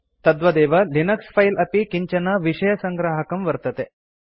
तद्वदेव Linux file अपि किञ्चन विषयसङ्ग्राहकं वर्तते